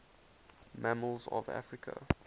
mammals of africa